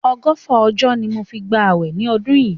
Ọgọ́fà ọjọ́ ni mo fi gba àwẹ̀ ni ọdún yìí.